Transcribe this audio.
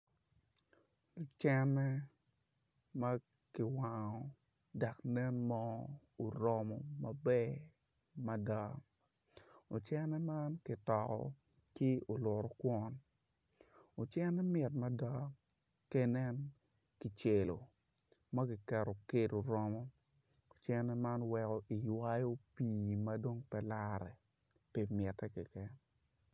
Ocene ma kiwango dok nen moo oromo maber mada ocene man kitoko ki olutokwon ocene mit mada ka inen kicelo ma kiketo kedo oromo ocene man weko iywayo pii ma dong pe lare.